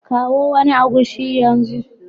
Kawo wani agushi yanzu